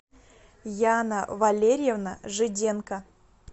яна валерьевна жиденко